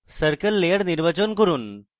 circle layer নির্বাচন করুন